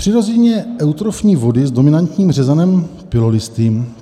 Přirozeně eutrofní vody s dominantním řezanem pilolistým.